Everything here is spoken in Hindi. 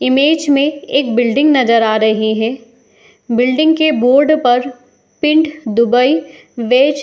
इमेज में एक बिलडिंग नजर आ रही है | बिलडिंग के बोर्ड पर पिंड दुबई वेज --